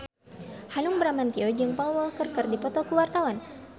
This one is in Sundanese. Hanung Bramantyo jeung Paul Walker keur dipoto ku wartawan